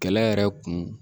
Kɛlɛ yɛrɛ kun